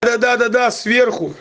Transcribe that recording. да-да-да сверху